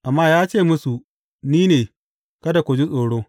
Amma ya ce musu, Ni ne; kada ku ji tsoro.